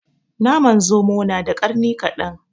Naman zomo na da ƙarni kaɗan